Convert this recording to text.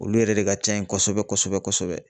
Olu yɛrɛ de ka ca yen kosɛbɛ kosɛbɛ kosɛbɛ.